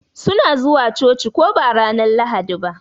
Su na zuwa coci ko ba ranar Lahadi ba?